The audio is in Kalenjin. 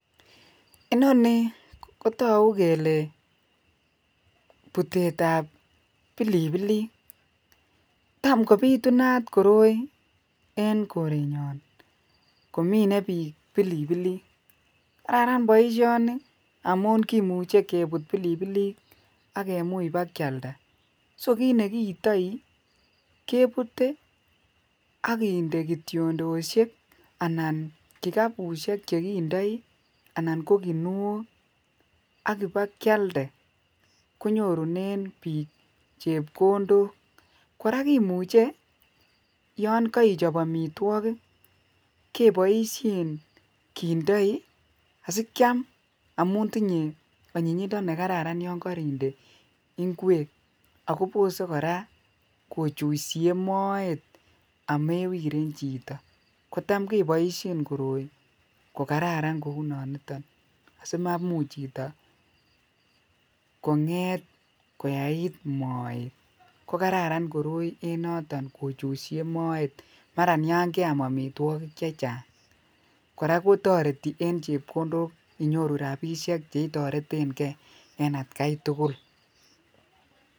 inoni kotoguu kele butet ab bilibilik tam kobitunat koroi en korenyoon komine biik bilibilik kararan boisyoni amun kimuche kebuut bilibilik ak kimuuch bakyalda so kiit negiitoii kebute ak kindee kiyondosiek anan kigaabusyeek chegindoii anan ko ginuook ak bagyalde konyorunen biik chebkondook, koraa kimuche yoon koichob omitwogik keboisyeen kindoii asikyaam amuun tinye oyinyindo yon korinde ingweek ago bose koraa kochuisiyee moeet omewiren chito, kotam keboisyee koroi kogararan kouu non iton asimamuch chito kongeet koyaii moet kogararan koroi en noton kochuisiyee moeet mara yaan keaam omitwogik chechang, koraa kotoreti en chepkondook inyoru rabisyeek chetoreten gee en atkai tugul